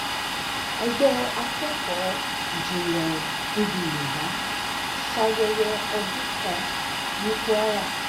ẹgbẹ́ akẹ́kọ̀ọ́ ìjìnlẹ̀ èdè yorùbá ṣayẹyẹ ọdún àṣà ní kwara